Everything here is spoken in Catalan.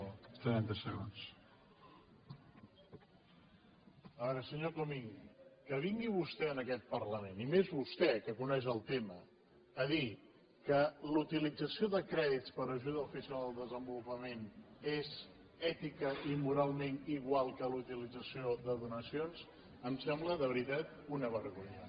a veure senyor comín que vingui vostè a aquest parlament i més vostè que coneix el tema a dir que la utilització de crèdits per ajuda oficial al desenvolupament és èticament i moralment igual que la utilització de donacions em sembla de veritat una vergonya